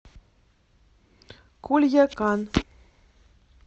кульякан